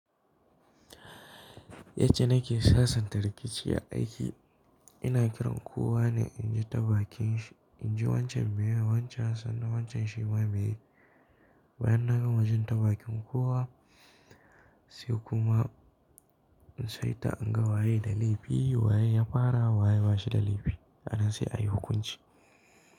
Yacce nake sasanta rikici a aiki, ina kiran kowa ne in ji ta bakinshi, in ji wancan me yaiwa wancan, sannan wancan shima m e yai? Bayan na gama jin ta bakin kowa sai kuma in saita, in ga waye da laifi, waye ya fara, waye bashi da laifi, a nan sai ayi hukunci.